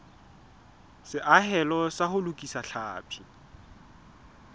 seahelo sa ho lokisa tlhapi